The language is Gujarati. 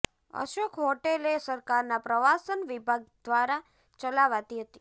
અશોક હોટેલ એ સરકારના પ્રવાસન વિભાગ ધ્વારા ચલાવાતી હતી